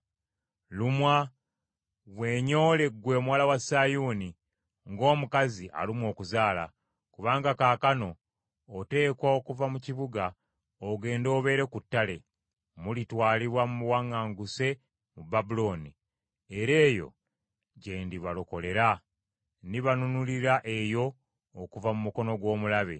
Lumwa, weenyoole ggwe Omuwala wa Sayuuni ng’omukazi alumwa okuzaala. Kubanga kaakano oteekwa okuva mu kibuga ogende obeere ku ttale. Mulitwalibwa mu buwaŋŋanguse mu Babulooni, era eyo gye ndibalokolera. Ndibanunulira eyo okuva mu mukono gw’omulabe.